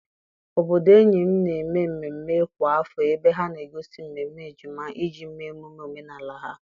Obodo enyi m na-eme mmemme kwa afọ ebe ha na-egosi mmemme ejima iji mee emume omenala ha.